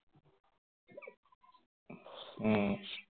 উম